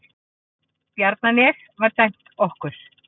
Bjarnanes var dæmt okkur!